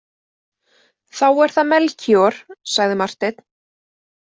Þá er það Melkíor, sagði Marteinn.